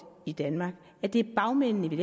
i danmark er det bagmændene vi